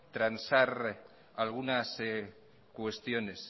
transar algunas cuestiones